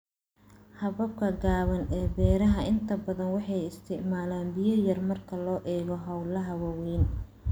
Hababka gaaban ee beeraha inta badan waxay isticmaalaan biyo yar marka loo eego hawlaha waaweyn.